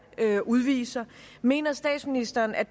udviser mener statsministeren at